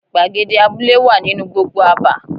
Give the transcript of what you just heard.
Gbàgede abúlé wà nínú gbogbo àbá.